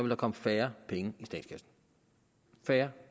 der komme færre penge i statskassen færre